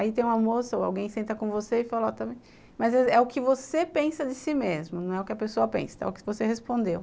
Aí tem uma moça ou alguém senta com você e fala, está vendo? mas é o que você pensa de si mesmo, não é o que a pessoa pensa, é o que você respondeu.